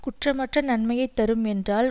குற்றம் அற்ற நன்மையை தரும் என்றால்